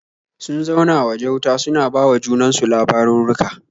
Sun zauna waje wuta suna ba wa junan su labarurruka.